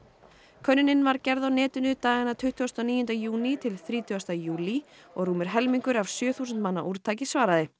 könnunin var gerð á netinu dagana tuttugasta og níunda júní til þrítugasta júlí og rúmur helmingur af sjö þúsund manna úrtaki svaraði